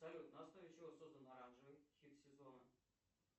салют на основе чего создан оранжевый хит сезона